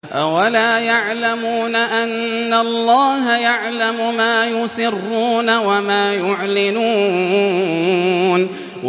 أَوَلَا يَعْلَمُونَ أَنَّ اللَّهَ يَعْلَمُ مَا يُسِرُّونَ وَمَا يُعْلِنُونَ